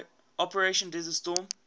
operation desert storm